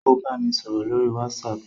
Ó bámi sọ̀rọ̀ lórí WhatsApp